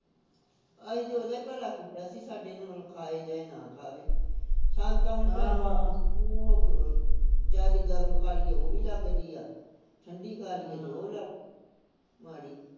ਅਹੀ ਤੇ ਉਹਦਾ ਈ ਭਲਾ ਕੀਤਾ ਸੀ ਸਾਡੇ ਖਾਏ ਚਾਹੇ ਨਾ ਖਾਵੇ ਸਾਨੂੰ ਤਾਂ ਹੁਣ ਜਿਆਦੀ ਗਰਮ ਖਾ ਲਿਏ ਉਹ ਵੀ ਲੱਗਦੀ ਆ ਠੰਡੀ ਖਾ ਲਈਏ ਤੇ ਉਹ ਲੱਗਦੀ ਮਾੜੀ